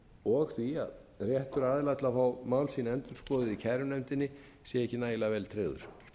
og því að réttur aðila til að fá mál sín endurskoðuð í kærunefndinni sé ekki nægilega vel tryggður